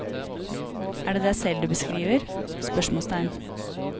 Er det deg selv du beskriver? spørsmålstegn